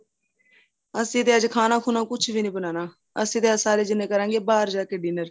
ਅਸੀਂ ਤੇ ਅੱਜ ਖਾਣਾ ਖੁਨਾ ਕੁੱਝ ਵੀ ਨਹੀਂ ਬਣਾਨਾ ਅਸੀਂ ਤੇ ਅੱਜ ਸਾਰੇ ਜਿੰਨੇ ਕਰਾਗੇ ਬਹਾਰ ਜਾਕੇ dinner